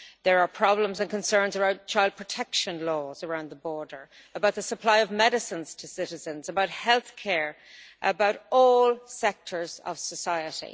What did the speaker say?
There are problems and concerns about child protection laws around the border, about the supply of medicines to citizens, about health care and about all sectors of society.